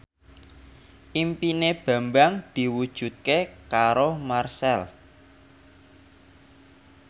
impine Bambang diwujudke karo Marchell